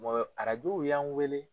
wa arajow y'an wele